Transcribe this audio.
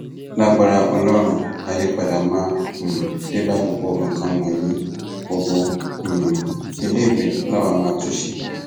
lagbára ọlọrun àyípadà máa um dé bá gbogbo nǹkan wọnyí gbogbo um iléèwé làwa máa tún ṣe